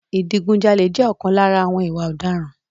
Ìdigun jalè jẹ́ ọ̀kan lára àwọn ìwà ọ̀daràn.